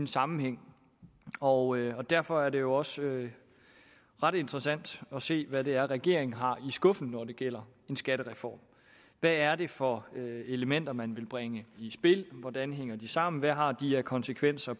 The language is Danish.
sammenhæng og derfor er det også ret interessant at se hvad det er regeringen har i skuffen når det gælder en skattereform hvad er det for elementer man vil bringe i spil hvordan hænger de sammen hvad har de af konsekvenser